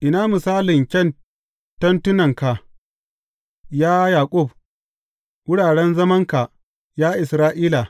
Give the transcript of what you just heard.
Ina misalin kyan tentunanka, ya Yaƙub, wuraren zamanka, ya Isra’ila!